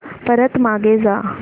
परत मागे जा